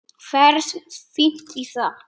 Ferð fínt í það.